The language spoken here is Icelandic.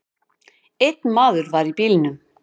Einn maður var í bílnum.